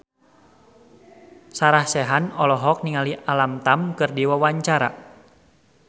Sarah Sechan olohok ningali Alam Tam keur diwawancara